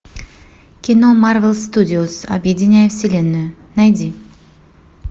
кино марвел студиос объединяя вселенную найди